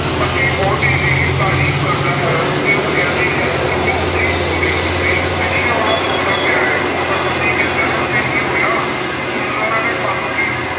ਪਤੀ ਵਹੁਟੀ ਦੀ ਤਾਰੀਫ ਕਰਦਾ ਹੈ ਤੇ ਉਹ ਕਹਿੰਦੀ ਹੈ ਕਿ ਕਿੰਨੀ ਉਚੀ ਬੋਲਦੇ ਓ ਤੁਸੀਂ, ਦੇਖੀ ਉਹਨੂੰ ਸੁਣਦਾ ਪਿਆ ਆ। ਪਰ ਪਤੀ ਕਹਿੰਦਾ ਹੈ ਫੇਰ ਕੀ ਹੋਇਆ, ਸੁਣਦਾ ਰਹੇ, ਸਾਨੂੰ ਕੀ।